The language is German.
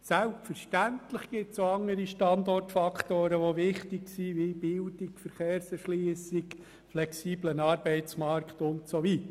Selbstverständlich gibt es auch andere wichtige Standortfaktoren wie Bildung, Verkehrserschliessung, flexibler Arbeitsmarkt und so weiter.